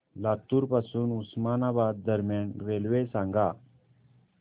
लातूर पासून उस्मानाबाद दरम्यान रेल्वे सांगा